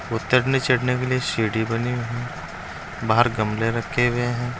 उतरने चढ़ने के लिए सीढ़ी बनी हुई है बाहर गमले रखे हुए हैं।